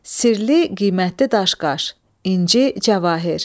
Sirli, qiymətli daş-qaş, inci, cavahir.